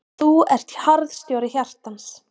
Og þú ert harðstjóri hjartans.